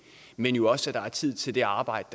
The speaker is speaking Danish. men jo også at der er tid til det arbejde